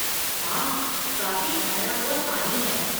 हाँ, काफ़ी ठहरा हुआ पानी है।